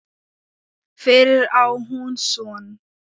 Fyrir á hún son.